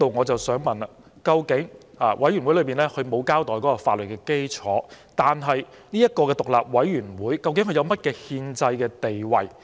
就此，由於檢討委員會並沒有交代有關的法律基礎，我想問究竟這個獨立委員會有何憲制地位？